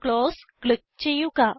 close click ചെയ്യുക